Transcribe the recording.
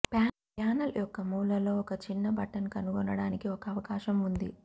panel యొక్క మూలలో ఒక చిన్న బటన్ కనుగొనడానికి ఒక అవకాశం ఉంది